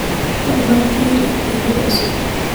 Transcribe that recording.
fadhlan firi iimaylyada cusub